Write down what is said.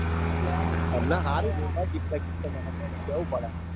તમને હારું જોરદાર gift બીફતો મળે હો કેવું પડે.